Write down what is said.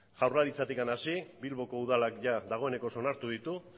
jaurlaritzatik hasi bilboko udalak jada dagoenekoz onartu ditu